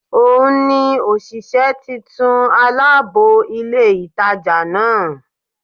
Ò n ni òsìsé titun alábò ilé ìtajà náà